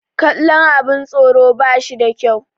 kallon abin tsoro ba shi da kyau